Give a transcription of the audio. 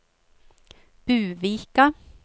Buvika